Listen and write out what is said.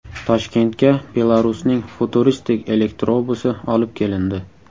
Toshkentga Belarusning futuristik elektrobusi olib kelindi .